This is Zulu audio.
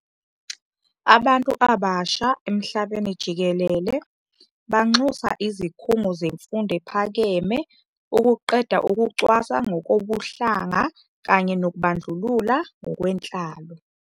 Abantu abasha emhlabeni jikelele banxusa izikhungo zemfundo ephakeme ukuqeda ukucwasa ngokobuhlanga kanye nokubandlulula ngokwenhlalo.